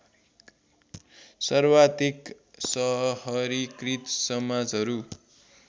सर्वाधिक सहरीकृत समाजहरू